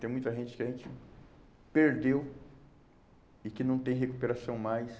Tem muita gente que a gente perdeu e que não tem recuperação mais.